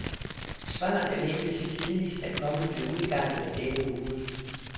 Svarene ventes tidligst at komme ved udgangen af denne uge.